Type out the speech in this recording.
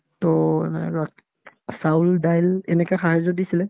to এনে আৰু আত্ চাউল-দাইল এনেকে সাহাৰ্য্য দিছিলে